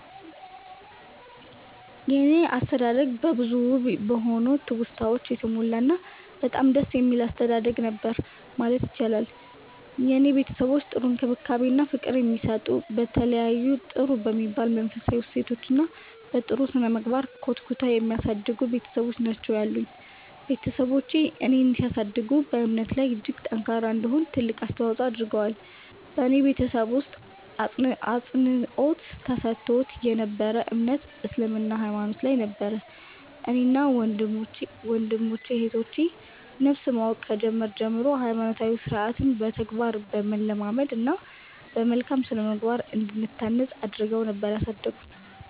የኔ አስተዳደግ በብዙ ውብ በሆኑ ትውስታወች የተሞላ እና በጣም ደስ የሚል አስተዳደግ ነበር ማለት ይቻላል። የኔ ቤተሰቦች ጥሩ እንክብካቤ እና ፍቅር የሚሰጡ፤ በተለያዩ ጥሩ በሚባሉ መንፈሳዊ እሴቶች እና በ ጥሩ ስነምግባር ኮትኩተው የሚያሳድጉ ቤትሰቦች ናቸው ያሉኝ። ቤትሰቦቼ እኔን ሲያሳድጉ በእምነቴ ላይ እጅግ ጠንካራ እንድሆን ትልቅ አስተዋፆ አድርገዋል። በኔ ቤተሰብ ውስጥ አፅንዖት ተሰጥቶት የ ነበረው እምነት እስልምና ሃይማኖት ላይ ነበር። እኔን እና ወንድም እህቶቼ ን ነፍስ ማወቅ ከጀመርን ጀምሮ ሃይማኖታዊ ስርዓትን በተግባር በማለማመድ እና በመልካም ስነምግባር እንድንታነፅ አድረገው ነበር ያሳደጉን።